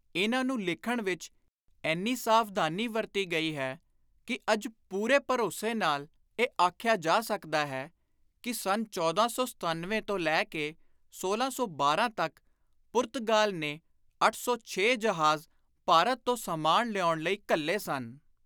ਇਨ੍ਹਾਂ ਨੂੰ ਲਿਖਣ ਵਿਚ ਏਨੀ ਸਾਵਧਾਨੀ ਵਰਤੀ ਗਈ ਹੈ ਕਿ ਅੱਜ ਪੁਰੇ ਭਰੋਸੇ ਨਾਲ ਇਹ ਆਖਿਆ ਜਾ ਸਕਦਾ ਹੈ ਕਿ ਸੰਨ 1497 ਤੋਂ ਲੈ ਕੇ 1612 ਤਕ ਪੁਰਤਗਾਲ ਨੇ ਅੱਠ ਸੌ.ਛੇ ਜਹਾਜ਼ ਭਾਰਤ ਤੋਂ ਸਾਮਾਨ ਲਿਆਉਣ ਲਈ ਘੱਲੇ ਸਨ।